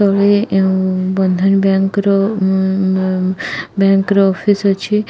ତଳେ ଉଁ ବନ୍ଧନ ବ୍ୟଙ୍କର ଉଁ ବ୍ୟାଙ୍କର ଅଫିସ ଅଛି।